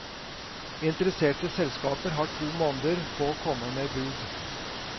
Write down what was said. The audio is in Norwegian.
Interesserte selskaper har to måneder på å komme med bud.